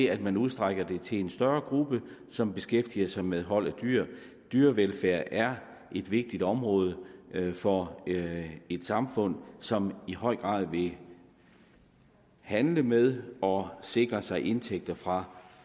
at man udstrækker det til en større gruppe som beskæftiger sig med hold af dyr dyrevelfærd er et vigtigt område for et samfund som i høj grad vil handle med og sikre sig indtægter fra